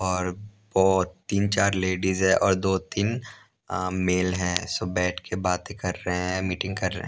और बहुत तीन चार लेडीज हैं और दो-तीन मेल हैं सो बैठ के बातें कर रहे हैं मीटिंग कर रहे हैं।